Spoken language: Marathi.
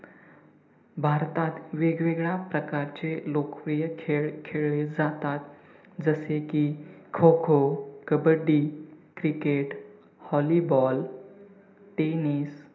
भारतात वेग-वेगळ्या प्रकारचे लोकप्रिय खेळ खेळले जातात जसे की kho-kho, kabaddi, cricket, volleyball, tennis